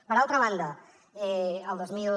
per altra banda el dos mil